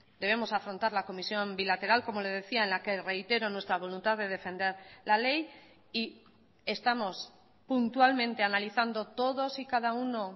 debemos afrontar la comisión bilateral como le decía en la que reitero nuestra voluntad de defender la ley y estamos puntualmente analizando todos y cada uno